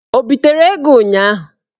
O bitere ego ụnyaahụ?